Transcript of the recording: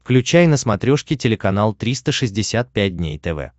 включай на смотрешке телеканал триста шестьдесят пять дней тв